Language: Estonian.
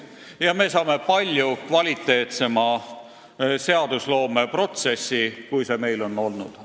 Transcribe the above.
Siis me saame palju kvaliteetsema seadusloome protsessi, kui meil seni olnud on.